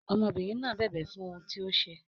Ọmọbìnrin náà bẹ̀bẹ̀ fún ohun tí ó ṣe.